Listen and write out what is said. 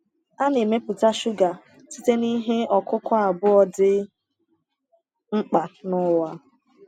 A na-emepụta shuga site na ihe ọkụkụ abụọ dị mkpa n’ụwa.